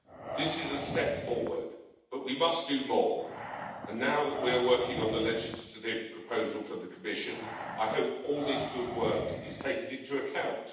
This is a step forward, but we must do more, and now that we are working on the legislative proposal from the Commission, I hope all this good work is taken into account.